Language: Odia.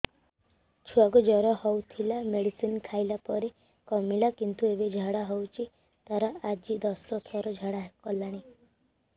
ଛୁଆ କୁ ଜର ହଉଥିଲା ମେଡିସିନ ଖାଇଲା ପରେ କମିଲା କିନ୍ତୁ ଏବେ ଝାଡା ହଉଚି ତାର ଆଜି ଦଶ ଥର ଝାଡା କଲାଣି